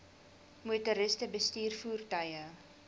motoriste bestuur voertuie